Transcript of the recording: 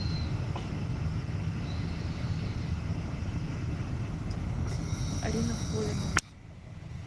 арина холина